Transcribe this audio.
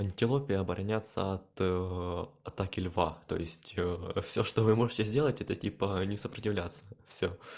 антилопе обороняться от атаки льва то есть всё что вы можете сделать это типа не сопротивляться всё